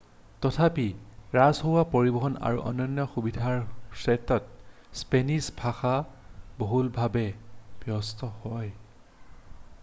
তথাপি ৰাজহুৱা পৰিবহণ আৰু অন্যান্য সুবিধাৰ ক্ষেত্ৰত স্পেনিছ ভাষা বহুলভাৱে ব্যৱহৃত হয়